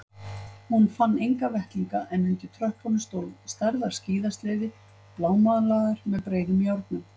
Hún fann enga vettlinga en undir tröppunum stóð stærðar skíðasleði blámálaður með breiðum járnum.